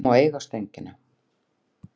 Hún má eiga Stöngina.